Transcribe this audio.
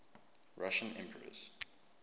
russian emperors